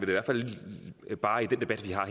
hvert fald bare i den debat vi har